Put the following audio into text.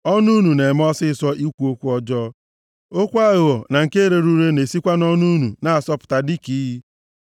Ọnụ unu na-eme ọsịịsọ ikwu okwu ọjọọ, okwu aghụghọ na nke rere ure na-esikwa nʼọnụ unu na-asọpụta dịka iyi.